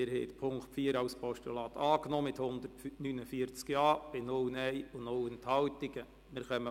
Sie haben den Punkt 4 als Postulat einstimmig mit 149 Ja-Stimmen angenommen.